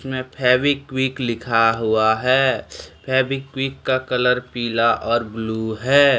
में फेवीक्विक लिखा हुआ है फेवीक्विक का कलर पीला और ब्लू है।